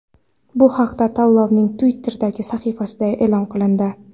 Bu haqda tanlovning Twitter’dagi sahifasida e’lon qilindi .